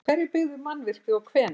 Hverjir byggðu mannvirkið og hvenær?